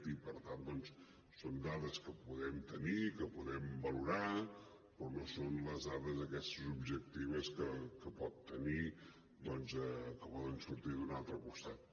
i per tant doncs són dades que podem tenir i que podem valorar però no són les dades aquestes objectives que poden sortir d’un altre costat